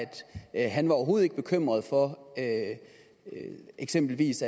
han overhovedet ikke var bekymret for at eksempelvis